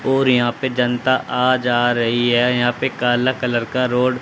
और यहां पे जनता आ जा रही है यहां पे काला कलर का रोड --